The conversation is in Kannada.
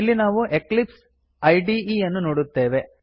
ಇಲ್ಲಿ ನಾವು ಎಕ್ಲಿಪ್ಸ್ ಇದೆ ಯನ್ನು ನೋಡುತ್ತೇವೆ